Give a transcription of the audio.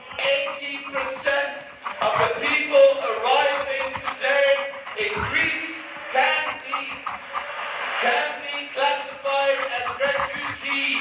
Eighty percent of the people arriving today in Greece can be classified as refugees.